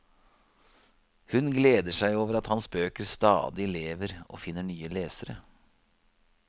Hun gleder seg over at hans bøker stadig lever og finner nye lesere.